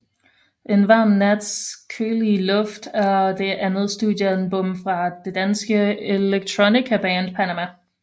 En varm nats kølige luft er det andet studiealbum fra det danske electronicaband Panamah